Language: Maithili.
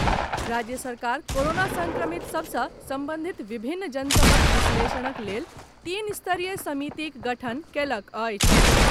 राज्य सरकार कोरोना संक्रमित सभ से संबंधित विभिन्न जनतबक विश्लेषणक लेल तीन स्तरीय समितिक गठन कयलक अछि।